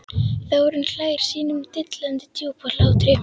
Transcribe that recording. Þórunn hlær sínum dillandi djúpa hlátri.